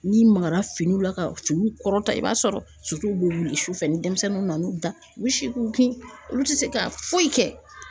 N'i magara finiw la ka finiw kɔrɔta i b'a sɔrɔ suw bɛ wuli sufɛ ni denmisɛnninw nana u da u se k'u kun olu tɛ se ka foyi kɛ.